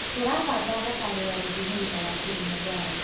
Turabanga thabarĩ ya gũthiĩ mũrĩma wa Kilimanjaro